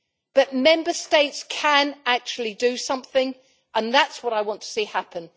But Member States can actually do something and that is what I want to see happen.